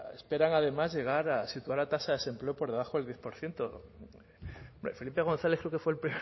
esperan además llegar a situar la tasa de desempleo por debajo del diez por ciento felipe gonzález creo que fue el